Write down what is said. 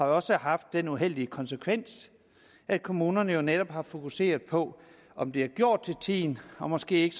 også haft den uheldige konsekvens at kommunerne netop har fokuseret på om det er gjort til tiden og måske